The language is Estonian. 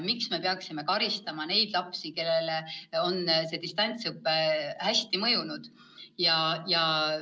Miks me siis peaksime karistama neid lapsi, kellele on distantsõpe hästi mõjunud?